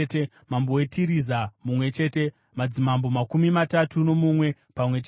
mambo weTiriza mumwe chete, madzimambo makumi matatu nomumwe pamwe chete.